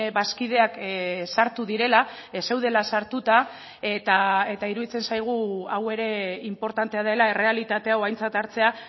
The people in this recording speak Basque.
bazkideak sartu direla ez zeudela sartuta eta iruditzen zaigu hau ere inportantea dela errealitate hau aintzat hartzea